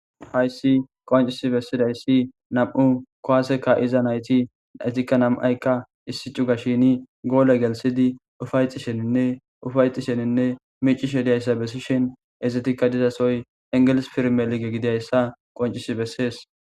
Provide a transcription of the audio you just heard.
Hayssi qoncisi bessidayssi nam7u kowaase kaa7iza nayti naytikka nam7aykka issi cugashini goole gelssidi ufayetisheninne ufayetisheninne miiccishe diyayssa bessishin ezetikka dizasoy engelis pirmelige gidiyayssa qonccisi bessees.